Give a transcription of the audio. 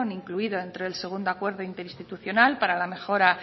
incluido entre el segundo acuerdo interinstitucional para la mejora